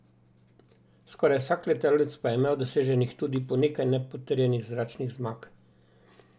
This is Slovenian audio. Skoraj vsak letalec pa je imel doseženih tudi po nekaj nepotrjenih zračnih zmag.